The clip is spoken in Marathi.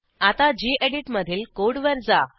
आता गेडीत मधील कोडवर जा